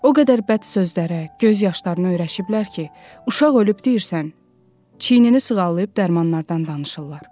O qədər bəd sözlərə, göz yaşlarına öyrəşiblər ki, uşaq ölüb deyirsən, çiynini sığallayıb dərmanlardan danışırlar.